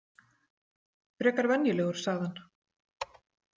Frekar venjulegur, sagði hann.